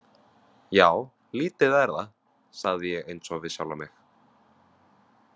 Já, lítið er það, sagði ég einsog við sjálfan mig.